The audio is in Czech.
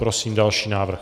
Prosím další návrh.